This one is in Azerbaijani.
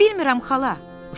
Bilmirəm xala.